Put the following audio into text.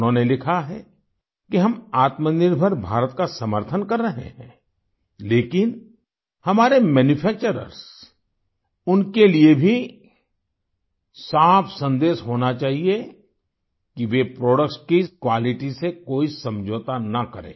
उन्होंने लिखा है कि हम आत्मनिर्भर भारत का समर्थन कर रहे हैं लेकिन हमारे मैन्यूफैक्चर्सउनके लिए भी साफ़ सन्देश होना चाहिए कि वे प्रोडक्ट्स की क्वालिटी से कोई समझौता न करें